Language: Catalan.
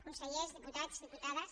consellers diputats diputades